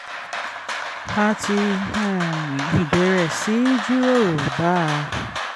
a ti um bẹ̀rẹ̀ sí í jíròrò bá a